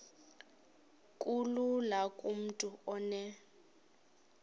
kulula kumntu onen